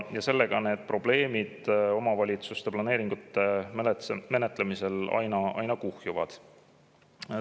Ja probleemid omavalitsuste planeeringute menetlemisel aina kuhjuvad.